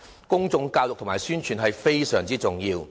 公眾教育和宣傳是非常重要的。